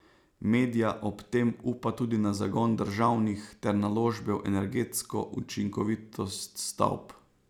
Medja ob tem upa tudi na zagon državnih ter naložbe v energetsko učinkovitost stavb.